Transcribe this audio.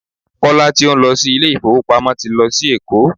Kọ́lá tí ó ń lọ sí ilé ìfowópamọ́ ti lọ sí Èkó.